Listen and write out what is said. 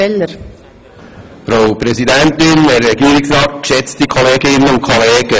Vielen Dank, wenn Sie Herrn Wuillemin wählen.